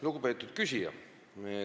Lugupeetud küsija!